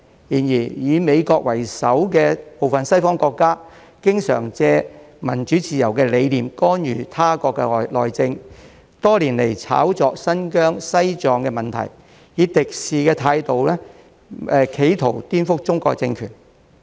然而，以美國為首的部分西方國家，經常借民主自由的理念干涉他國內政，多年來炒作新疆、西藏等問題，以敵視的態度企圖顛覆中國的政權。